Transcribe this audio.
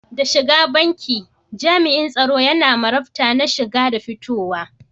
Da shigar banki, jam'in tsaro yana marabta na shiga da fitowa.